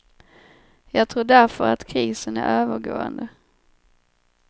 Jag tror därför att krisen är övergående.